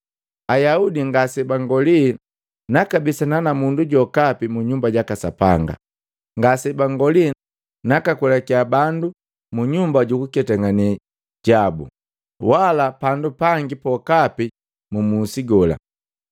Ayaudi ngase bangoli nakabisana na mundu jokapi munyumba jaka Sapanga. Ngasebangoli naka kwelakia bandu munyumba jukuketangane gabo, wala pandu pangi pokapi mu musi gola.